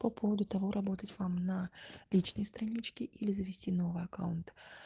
по поводу того работать вам на личной страничке или завести новый аккаунт